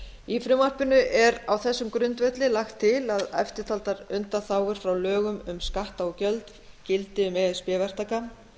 í frumvarpinu er á þessum grundvelli lagt til að eftirtaldar undanþágur frá lögum um skatta og gjöld gildi um e s b verktaka